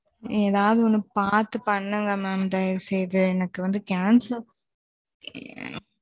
ஏதாது பாத்து பண்ணுங்க மாம் தைவசெஞ்சி எனக்கு வந்து